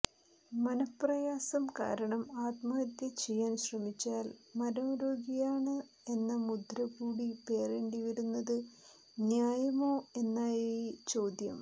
മനഃപ്രയാസം കാരണം ആത്മഹത്യചെയ്യാൻ ശ്രമിച്ചാൽ മനോരോഗിയാണ് എന്ന മുദ്ര കൂടി പേറേണ്ടിവരുന്നത് ന്യായമോ എന്നായി ചോദ്യം